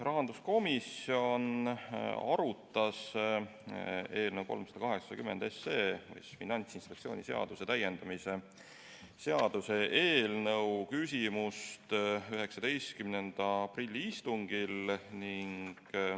Rahanduskomisjon arutas eelnõu 380, Finantsinspektsiooni seaduse täiendamise seaduse eelnõu 19. aprilli istungil.